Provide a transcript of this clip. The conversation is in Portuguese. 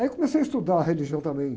Aí comecei a estudar a religião também.